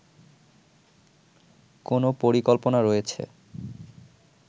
কোনো পরিকল্পনা রয়েছে